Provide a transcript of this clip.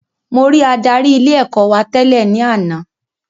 Mo rí adarí ilé ẹ̀kọ́ wa tẹ́lẹ̀ ní àná